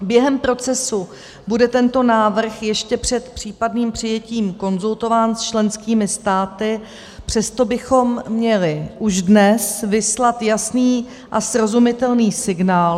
Během procesu bude tento návrh ještě před případným přijetím konzultován s členskými státy, přesto bychom měli už dnes vyslat jasný a srozumitelný signál...